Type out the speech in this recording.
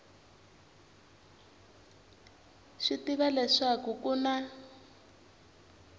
swi tiva leswaku ku na